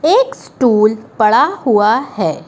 एक स्टूल पड़ा हुआ है।